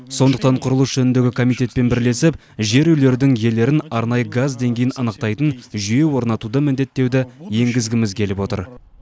сондықтан құрылыс жөніндегі комитетпен бірлесіп жер үйлердің иелерін арнайы газ деңгейін анықтайтын жүйе орнатуды міндеттеуді енгізгіміз келіп отыр